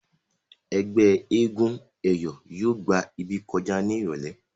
ẹgbẹ éégun eyọ yóò gbà ibí kọjá ní irọlẹ.